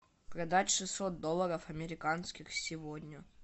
продать шестьсот долларов американских сегодня